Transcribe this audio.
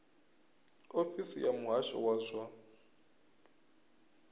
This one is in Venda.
ofisi ya muhasho wa zwa